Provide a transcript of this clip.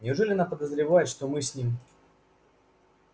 неужели она подозревает что мы с ним